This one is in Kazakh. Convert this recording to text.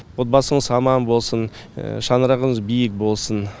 отбасыңыз аман болсын шаңырағыңыз биік болсын